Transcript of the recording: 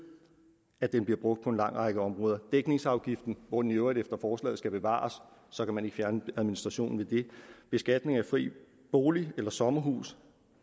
at den bliver brugt på en lang række områder dækningsafgiften hvor den i øvrigt efter forslaget skal bevares og så kan man ikke fjerne administrationen ved det beskatningen af fri bolig eller sommerhus